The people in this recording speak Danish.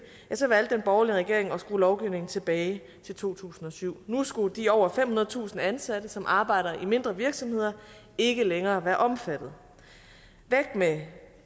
valgte den borgerlige regering at skrue lovgivningen tilbage til to tusind og syv nu skulle de over femhundredetusind ansatte som arbejder i mindre virksomheder ikke længere være omfattet væk med